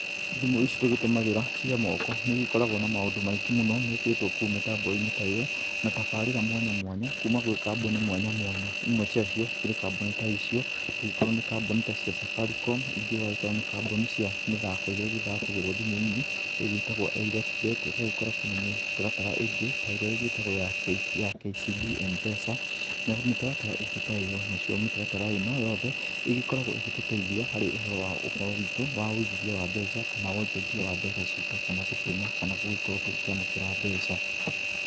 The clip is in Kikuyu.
Thimũ ici tũgĩtũmagĩra cia moko nĩ igĩkoragwo na maũndũ maingĩ mũno mekĩrĩtwo kũu mĩtambo-inĩ ta ĩyo, na tabarĩra mwanya mwanya kuma gwĩ kambuni mwanya mwanya imwe cia cio cirĩ kambuni ta icio gũgĩkorwo nĩ kambuni ta cia Safaricom, ingĩ ũgagĩkora nĩ kambuni cia mĩthako ĩrĩa ĩgĩthakagĩrwo thimũ-inĩ ĩgĩtagwo iLOTBET. Ũgagĩkora kwĩ na mĩtaratara ĩngĩ ta ĩrĩa ĩtagwo ya KCB MPesa na mĩtaratara ĩngĩ ta ĩyo. Nacio mĩtaratara ĩno yothe ĩgĩkoragwo ĩgĩtũteithia harĩ ũhoro wa ũhoro witũ wa ũigithia wa mbeca, kana wonjorithia wa mbeca citũ, kana gũtũma kana gũgĩkorwo tũgĩkĩamũkĩra mbeca.